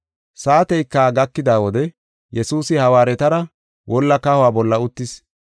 Saateyka gakida wode Yesuusi hawaaretara wolla kahuwa bolla uttis.